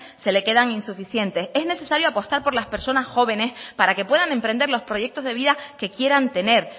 se le quedan insuficientes en necesario apostar por las personas jóvenes para que puedan emprender los proyectos de vida que quieran tener